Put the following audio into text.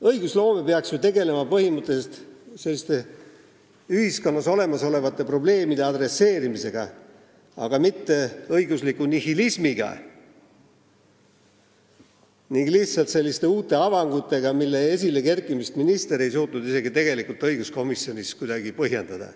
Õigusloome peaks ju tegelema põhimõtteliselt ühiskonnas olemasolevate probleemidega, aga mitte õigusliku nihilismiga ning lihtsalt uute avangutega, mille esilekerkimist minister ei suutnud isegi õiguskomisjonis kuidagi põhjendada.